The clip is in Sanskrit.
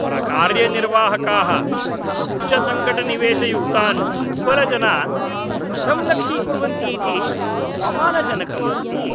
परकार्यनिर्वाहकाः उच्चसङ्कटनिवेशयुक्तान् दुर्बलजनान् कथं लक्ष्यीकुर्वन्ति इति अपमानजनकम् अस्ति।